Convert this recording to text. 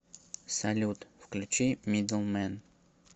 салют включи мидл мэн